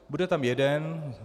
Bude tam jeden.